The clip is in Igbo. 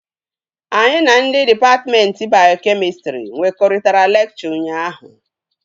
Anyị na ndị dịpatmentị bayokemịstrị nkwekọrịtara lekchọ ụnyaahụ